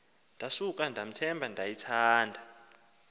ndasuka ndathemba ndayithanda